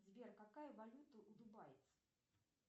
сбер какая валюта у дубайцев